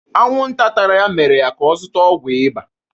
Anwụnta tara ya mere ka ọ zụta ọgwụ ịba.